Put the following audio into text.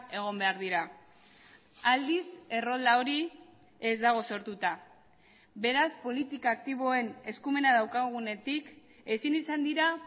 egon behar dira aldiz errolda hori ez dago sortuta beraz politika aktiboen eskumena daukagunetik ezin izan dira